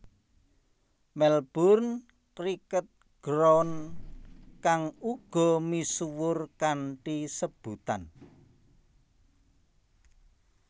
Melbourne Cricket Ground kang uga misuwur kanthi sebutan